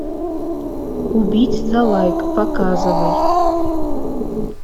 убить за лайк показывай